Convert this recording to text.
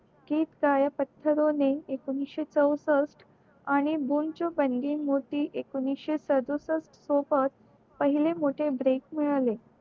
गीत गाओ पत्थररोने एकोणीशे चौषष्ट आणि गुंचू पंडी मूर्ती एकोणीशे सदुसष्ट सोबत पहिले मोठे break मिळाले